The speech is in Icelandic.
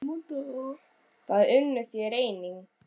Það unnu þeir einnig.